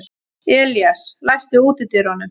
Elías, læstu útidyrunum.